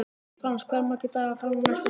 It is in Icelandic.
Frans, hversu margir dagar fram að næsta fríi?